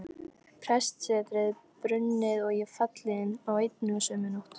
Prestssetrið brunnið og ég fallinn á einni og sömu nótt!